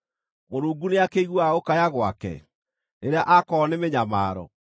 Mũrungu nĩakĩiguaga gũkaya gwake rĩrĩa akorwo nĩ mĩnyamaro?